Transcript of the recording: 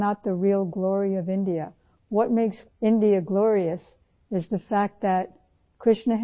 یہاں تک کے ہر سہولت میں آگے بڑھ رہا ہے لیکن میں جانتی ہوں کہ یہ بھارت کی حقیقی عظمت نہیں ہے